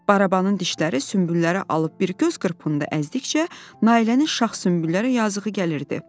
Barabanın dişləri sünbülləri alıb bir göz qırpımında əzdikcə, Nailənin şax sünbülləri yazığı gəlirdi.